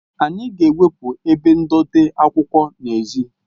Anyị ga-ewepụ ebe ndote akwụkwọ n'èzí